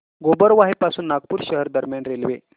गोबरवाही पासून नागपूर शहर दरम्यान रेल्वे